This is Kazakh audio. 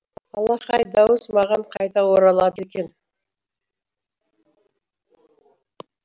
алақай дауыс маған қайта оралады екен